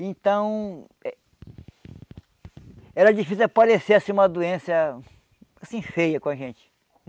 Então... Era difícil que assim aparecer uma doença assim feia com a gente.